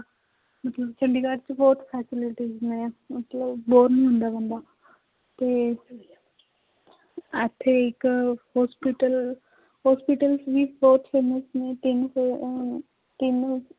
ਮਤਲਬ ਚੰਡੀਗੜ੍ਹ ਚ ਬਹੁਤ facilities ਨੇ ਮਤਲਬ bore ਨੀ ਹੁੰਦਾ ਬੰਦਾ ਤੇ ਇੱਥੇ ਇੱਕ hospital hospitals ਵੀ ਬਹੁਤ famous ਨੇ ਅਹ ਤਿੰਨ